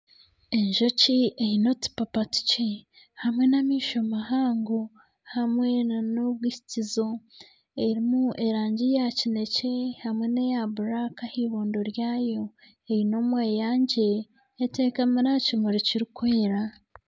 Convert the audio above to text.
Enjoki eine otupapa tukye hamwe n'amaisho mahango hamwe nana obwikizo erimu erangi ya kinekye hamwe neya buraka ah'eibondo ryayo eine omweyangye etekamire aha kimuri kirikwera.